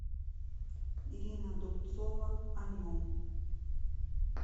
ирина дубцова о нем